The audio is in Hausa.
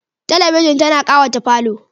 Talabijin tana ƙawata falo.